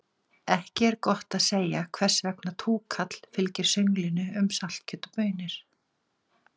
Ekki er gott að segja hvers vegna túkall fylgir sönglinu um saltkjöt og baunir.